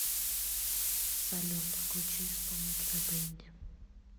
салют включи исполнителя дэнди